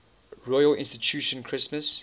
royal institution christmas